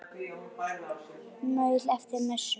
Maul eftir messu.